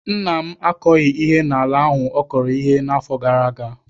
Nna m akọghị ihe n'ala ahụ ọ kọrọ ihe n'afọ gara aga.